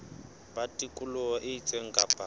ba tikoloho e itseng kapa